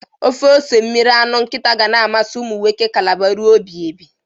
Ofe ose mmiri anụ nkịta ga na-amasị umụnwoke kalaba rue ebighibi.